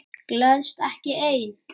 Gleðst ekki ein.